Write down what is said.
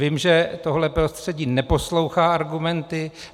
Vím, že tohle prostředí neposlouchá argumenty.